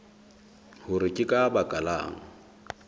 hore ke ka baka lang